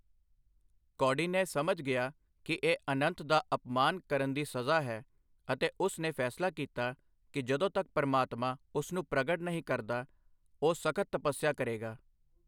ਕੌਂਡਿਨਯ ਸਮਝ ਗਿਆ ਕਿ ਇਹ 'ਅਨੰਤ' ਦਾ ਅਪਮਾਨ ਕਰਨ ਦੀ ਸਜ਼ਾ ਹੈ ਅਤੇ ਉਸ ਨੇ ਫੈਸਲਾ ਕੀਤਾ ਕਿ ਜਦੋਂ ਤੱਕ ਪ੍ਰਮਾਤਮਾ ਉਸ ਨੂੰ ਪ੍ਰਗਟ ਨਹੀਂ ਕਰਦਾ, ਉਹ ਸਖ਼ਤ ਤਪੱਸਿਆ ਕਰੇਗਾ।